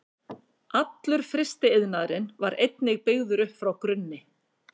Allur frystiiðnaðurinn var einnig byggður upp frá grunni.